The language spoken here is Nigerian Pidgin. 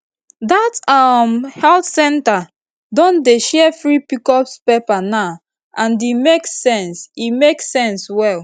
that um health center don dey share free pcos paper now and e make sense e make sense well